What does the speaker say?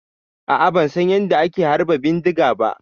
A'a ban San yanda ake harba bindiga ba.